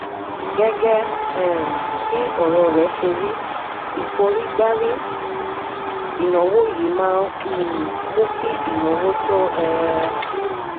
gẹ́gẹ́ um bí ọ̀rọ̀ rẹ̀ ṣe rí ìforígbárí ìnáwó yìí máa ń um mú kí ìnáwó tó um ń